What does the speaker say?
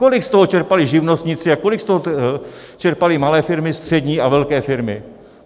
Kolik z toho čerpali živnostníci a kolik z toho čerpaly malé firmy, střední a velké firmy?